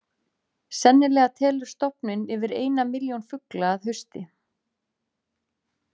Sennilega telur stofninn yfir eina milljón fugla að hausti.